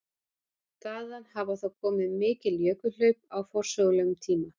Þaðan hafa þó komið mikil jökulhlaup á forsögulegum tíma.